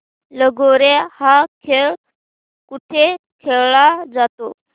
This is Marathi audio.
लगोर्या हा खेळ कुठे खेळला जातो